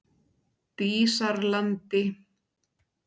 Dísarlandi